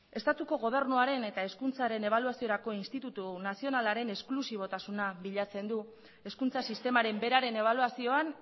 estatuko gobernuaren eta hezkuntzaren ebaluaziorako institutu nazionalaren esklusibotasuna bilatzen du hezkuntza sistemaren beraren ebaluazioan